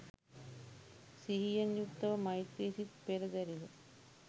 සිහියෙන් යුක්තව මෛත්‍රි සිත් පෙරදැරිව